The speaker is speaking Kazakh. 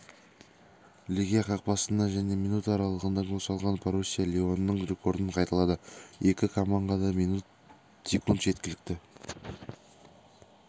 легия қақпасына және минуттараралығында гол салған боруссия лионның рекордын қайталады екі команға да минут секунд жеткілікті